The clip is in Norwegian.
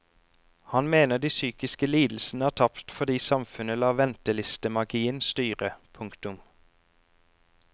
Han mener de psykiske lidelsene har tapt fordi samfunnet lar ventelistemagien styre. punktum